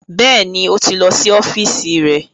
Bẹ́ẹ̀ni, ó ti lọ sí ọ́fíìsì rẹ̀